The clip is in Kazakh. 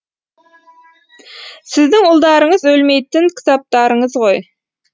сіздің ұлдарыңыз өлмейтін кітаптарыңыз ғой